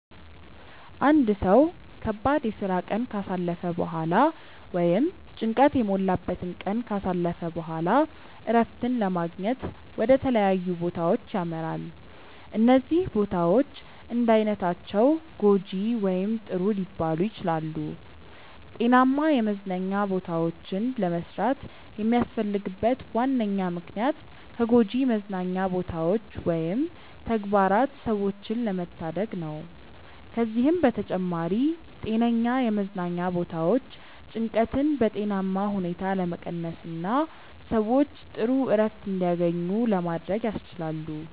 አንድ ሰው ከባድ የስራ ቀን ካሳለፈ በኋላ ወይም ጭንቀት የሞላበትን ቀን ካሳለፈ በኋላ እረፍትን ለማግኘት ወደ ተለያዩ ቦታዎች ያመራል። እነዚህ ቦታዎች እንዳይነታቸው ጐጂ ወይም ጥሩ ሊባሉ ይችላሉ። ጤናማ የመዝናኛ ቦታዎችን ለመስራት የሚያስፈልግበት ዋነኛ ምክንያት ከጎጂ መዝናኛ ቦታዎች ወይም ተግባራት ሰዎችን ለመታደግ ነው። ከዚህም በተጨማሪ ጤነኛ የመዝናኛ ቦታዎች ጭንቀትን በጤናማ ሁኔታ ለመቀነስና ሰዎች ጥሩ እረፍት እንዲያገኙ ለማድረግ ያስችላሉ።